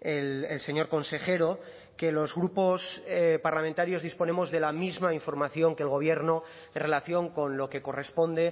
el señor consejero que los grupos parlamentarios disponemos de la misma información que el gobierno en relación con lo que corresponde